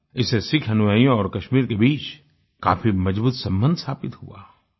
इसे सिख अनुयायियों और कश्मीर के बीच काफी मजबूत सम्बन्ध स्थापित हुआ